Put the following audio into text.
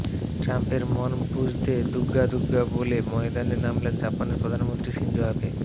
ট্রাম্পের মন বুঝতে দুগ্গা দুগ্গা বলে ময়দানে নামলেন জাপানের প্রধানমন্ত্রী শিনজো আবে